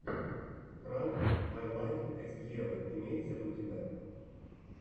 пранк май лайф эс евы имеется ли у тебя